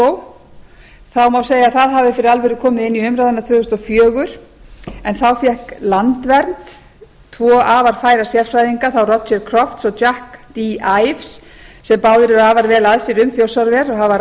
má segja að það hafi fyrir alvöru komið inn í umræðuna tvö þúsund og fjögur en þá fékk landvernd tvo færa sérfræðinga þá roger crofts og jack d ives sem báðir eru afar vel að sér um þjórsárver og hafa